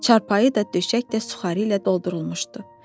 Çarpayı da, döşək də suxarı ilə doldurulmuşdu.